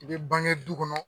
I bɛ bange du kɔnɔ.